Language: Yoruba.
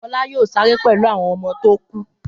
Fọlá yóò sáré pẹ̀lú àwọn ọmọ tó kù.